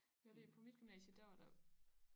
Det er fordi på mit gymnasie der var der